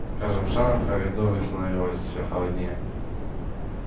с каждым шагом в коридоре становилось все холоднее